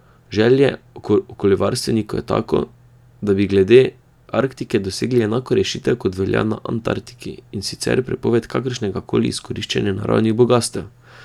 Želja okoljevarstvenikov je tako, da bi glede Arktike dosegli enako rešitev, kot velja na Antarktiki, in sicer prepoved kakršnega koli izkoriščanja naravnih bogastev.